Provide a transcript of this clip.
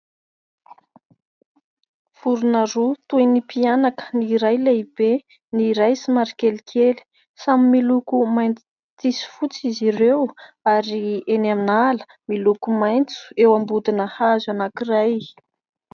Vorona roa toy ny mpianaka, ny iray lehibe ny iray somary kelikely. Samy miloko mainty sy fotsy izy ireo ary eny an'ala miloko maitso eo am-bodina hazo anankiray.